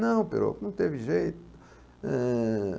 Não, não teve jeito. Eh...